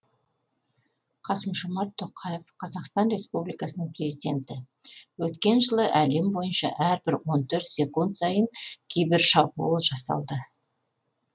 қасым жомарт тоқаев қазақстан республикасының президенті өткен жылы әлем бойынша әрбір он төрт секунд сайын кибершабуыл жасалды